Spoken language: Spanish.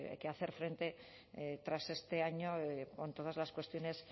que hacer frente tras este año con todas las cuestiones